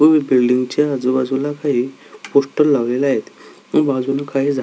व एक बिल्डिंग च्या आजुबाजू ला काही पोस्टर लावलेले आहेत बाजूला काही झा--